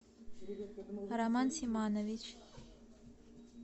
роман симанович